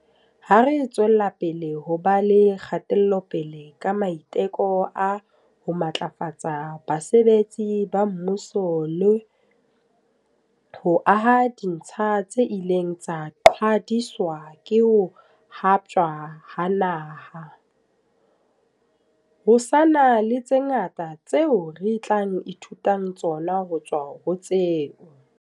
Ha re tswelapele ho ba le kgatelopele ka maiteko a ho matlafatsa basebetsi ba mmuso le ho aha ditsha tse ileng tsa qhwadiswa ke ho haptjwa ha naha, ho sa na le tse ngata tseo re tla e thutang tsona ho tswa ho tseo.